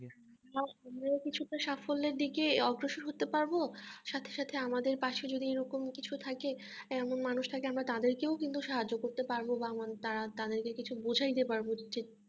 আমরাও কিছুটা সাফল্যের দিকে অগ্রসর হতে পারবো সাথে সাথে আমাদের পশে যদি এরকম কিছু থাকে এমন মানুষ থাকে আমরা তাদেরকেও কিন্তু সাহায্য করতে পারবো বা আমাদের তারা তাদেরকে কিছু বুঝিয়া দিতে পারবো যে